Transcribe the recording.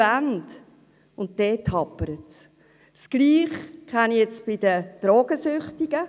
Das kenne ich von den Drogensüchtigen.